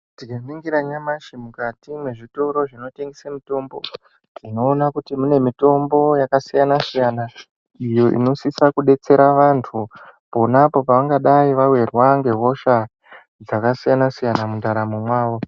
Tinganingira nyamashi mukati mwezvitoro zvinotengese mitombo unoona kuti mune mitombo yakasiyana siyana iyo inosisa kudetsera vantu ponapo paanenge awirwa nehosha dzakasiyana siyana mundaramo mwawo.